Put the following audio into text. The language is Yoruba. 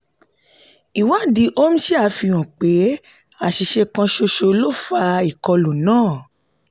ìwádìí omniscia fi hàn pé àṣìṣe kan ṣoṣo ló fà ìkọlù náà.